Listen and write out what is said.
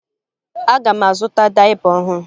Aga m azụta dayịpa ọhụrụ